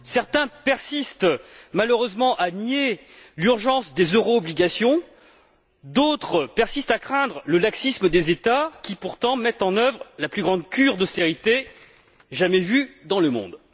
Certains persistent, malheureusement, à nier l'urgence des euro obligations, d'autres persistent à craindre le laxisme des États qui, pourtant, mettent en œuvre la plus grande cure d'austérité jamais vue dans le monde.